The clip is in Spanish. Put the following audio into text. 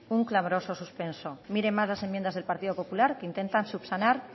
un clamoroso suspenso miren más las enmiendas del partido popular que intentan subsanar